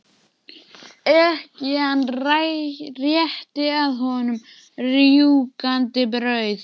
Ekkjan rétti að honum rjúkandi brauð.